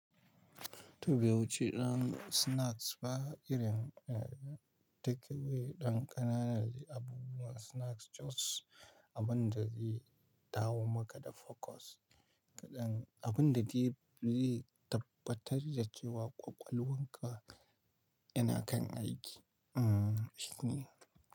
To ba wuci ɗan snacks ba irin takeaway ɗan ƙananan abu a snacks choice, abun da zai dawo maka da focus kaɗan, abun da zai tabbatar da cewa ƙwaƙwalwarka yana kan aiki. Hmm.